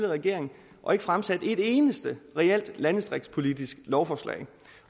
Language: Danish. regering og ikke fremsatte et eneste reelt landdistriktspolitisk lovforslag